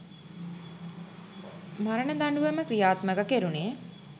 මරණ දඬුවම ක්‍රියාත්මක කෙරුණේ.